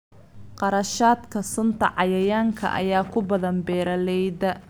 Kharashaadka sunta cayayaanka ayaa ku badan beeralayda.